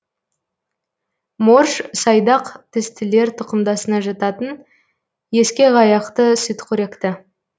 морж сайдақ тістілер тұқымдасына жататын ескекаяқты сүтқоректі